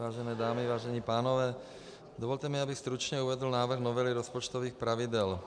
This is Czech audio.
Vážené dámy, vážení pánové, dovolte mi, abych stručně uvedl návrh novely rozpočtových pravidel.